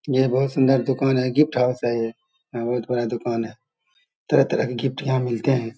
ये बहुत सूंदर दुकान है गिफ्ट हाउस है ये यहाँ बहुत बड़ा दुकान है तरह-तरह के गिफ्ट यहाँ मिलते है ।